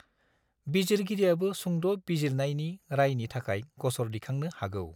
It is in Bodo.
बिजिरगिरियाबो सुंद’ बिजिरनायि रायनि थाखाय ग'सर दिखांनो हागौ।